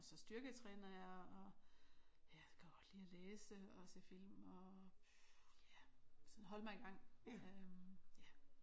Og så styrketræner jeg og ja kan godt lide at læse og se film og ja sådan holde mig i gang øh